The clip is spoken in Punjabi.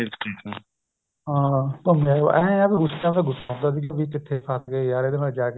ਹਾਂ ਘੁੱਮੇ ਆਏ ਏਹ ਉਸ time ਗੁੱਸਾ ਆਉਦਾ ਸੀ ਕਿਥੇ ਫੱਸ ਗਏ ਯਾਰ ਇਹਦੇ ਨਾਲ ਜਾਕੇ